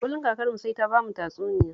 Kullum kakarmu sai ta bamu tatsuniya